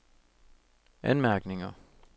anmærkninger